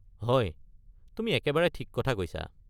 হয়, তুমি একেবাৰে ঠিক কথা কৈছা?